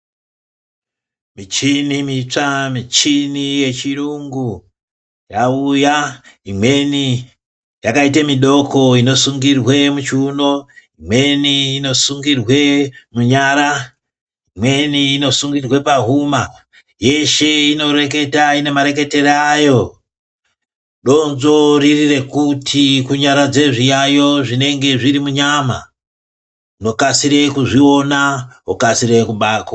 Michini mitsva, michini yechirungu yauya. Imweni yakaite midoko inosungirwe muchiuno, imweni inosungirwe munyara, imweni inosungirirwe pahuma. Yeshe inoreketa, ina mareketere ayo. Donzvo riri rekuti kunyaradze zviyayiyo zvinenge zviri munyama, yokasire kuzviona wokasire kubako...